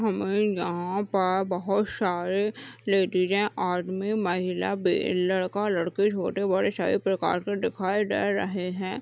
हमें यहाँ पर बहुत सारे लेडीजे आदमी महिला बे लड़का लड़की छोटे बड़े सभी प्रकार के दिखाई दे रहे हैं।